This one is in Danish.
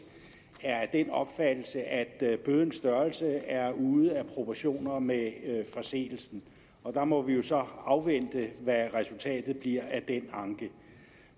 er af den opfattelse at bødens størrelse er ude af proportioner med forseelsen der må vi jo så afvente hvad resultatet bliver af den anke